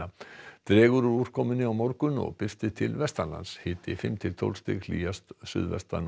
dregur úr úrkomu á morgun og birtir til hiti fimm til tólf stig hlýjast suðvestan og